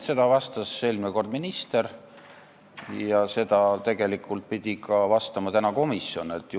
Nii vastas eelmine kord minister ja tegelikult pidi nii vastama täna ka komisjoni esindaja.